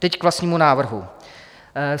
Teď k vlastnímu návrhu.